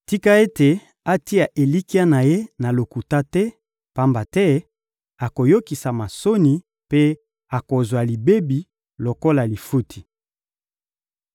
Tika ete atia elikya na ye na lokuta te, pamba te akoyokisama soni mpe akozwa libebi lokola lifuti.